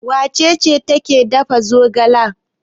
Wace ce take dafa zogala?